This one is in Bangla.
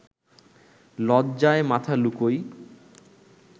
লজ্জায় মাথা লুকোই